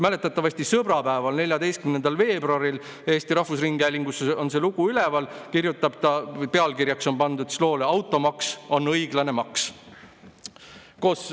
Mäletatavasti sõbrapäeval, 14. veebruaril – Eesti Rahvusringhäälingus on see lugu üleval – kirjutab ta loo, mille pealkirjaks on pandud "Automaks on õiglane maks".